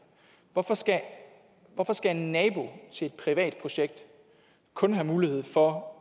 hvorfor skal hvorfor skal en nabo til et privat projekt kun have mulighed for at